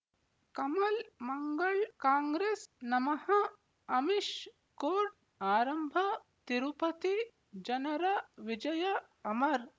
ಕಮಲ್ ಮಂಗಳ್ ಕಾಂಗ್ರೆಸ್ ನಮಃ ಅಮಿಷ್ ಕೋರ್ಟ್ ಆರಂಭ ತಿರುಪತಿ ಜನರ ವಿಜಯ ಅಮರ್